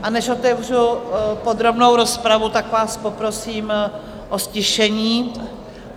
A než otevřu podrobnou rozpravu, tak vás poprosím o ztišení.